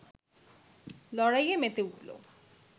লড়াইয়ে মেতে উঠল